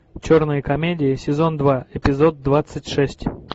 черные комедии сезон два эпизод двадцать шесть